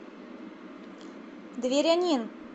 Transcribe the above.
дверянин